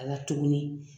A la tuguni